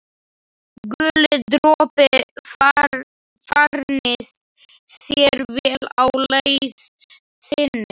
Guli dropi, farnist þér vel á leið þinni.